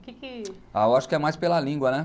o que que ah Eu acho que é mais pela língua, né?